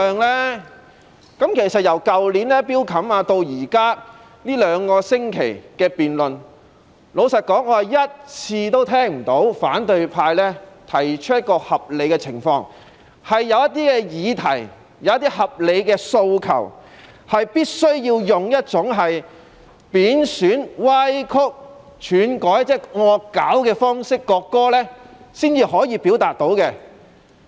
從去年法案委員會的討論至這兩星期的辯論中，老實說，我一次也聽不到反對派提出合理的論據，引證有些議題或合理的訴求，是必須利用一種貶損、歪曲、竄改——即是"惡搞"——國歌的方式才能表達。